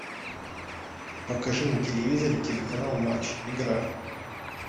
покажи на телевизоре телеканал матч игра